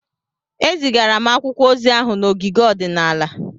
Ezigara m akwụkwọ ozi ahụ n'ogige ọdịnala.